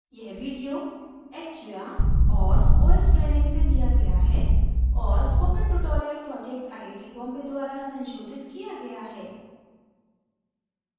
यह video acquia और ostraining से लिया गया है और spoken tutorial project I I T Bombay द्वरा संशोधित किया गया है